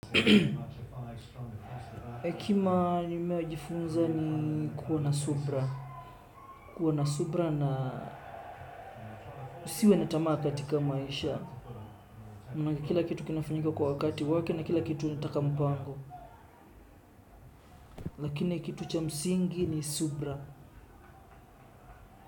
Hekima nimeyojifunza ni kuwa na subira. Kuwa na subira na usiwe na tamaa katika maisha. Manake kila kitu kinafanyika kwa wakati wake na kila kitu inataka mpango. Lakini kitu cha msingi ni subira.